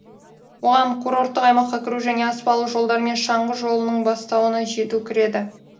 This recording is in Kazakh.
бұған курорттық аймаққа кіру және аспалы жолдармен шаңғы жолының бастауына жету кіреді